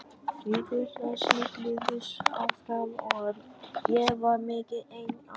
Vikurnar snigluðust áfram og ég var mikið ein á